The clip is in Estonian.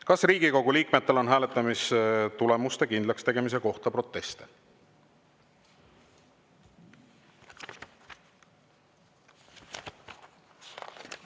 Kas Riigikogu liikmetel on hääletamistulemuste kindlakstegemise kohta proteste?